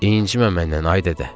İncimə məndən ay dədə.